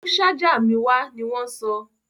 Mú ṣájà mi wá! ní wọ́n sọ.